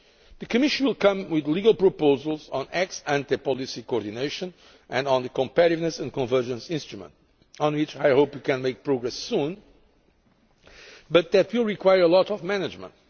The Commission will come with legal proposals on ex ante policy coordination and on the Competitiveness and Convergence Instrument, on which I hope we can make progress soon but that will require a lot of management.